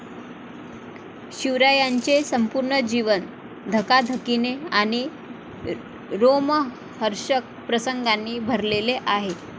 शिवरायांचे संपूर्ण जीवन धकाधकीने आणि रोमहर्षक प्रसंगांनी भरलेले आहे.